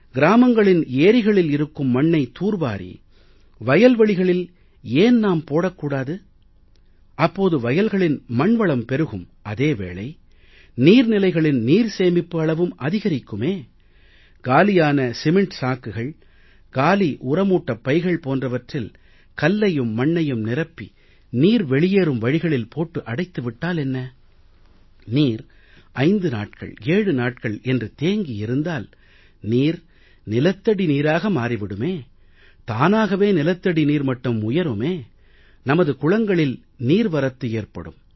கிராமங்களின் ஏரிகளில் இருக்கும் மண்ணை தூர் வாரி வயல்வெளிகளில் ஏன் நாம் போடக் கூடாது அப்போது வயல்களின் மண்வளம் பெருகும் அதே வேளை நீர் நிலைகளின் நீர் சேமிப்பு அளவும் அதிகரிக்குமே காலியான சிமெண்ட் சாக்குகள் காலி உரமூட்டைப் பைகள் போன்றவற்றில் கல்லையும் மண்ணையும் நிரப்பி நீர் வெளியேறும் வழிகளில் போட்டு அடைத்து விட்டால் என்ன நீர் 5 நாட்கள் 7 நாட்கள் என்று தேங்கியிருந்தால் நீர் நிலத்தடி நீராக மாறி விடுமே தானாகவே நிலத்தடி நீர் மட்டம் உயருமே நமது குளங்களில் நீர் வரத்து ஏற்படும்